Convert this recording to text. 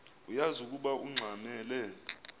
uyaz ukoba ungxamel